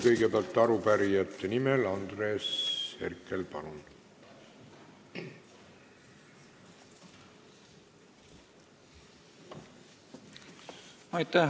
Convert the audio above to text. Kõigepealt arupärijate nimel Andres Herkel, palun!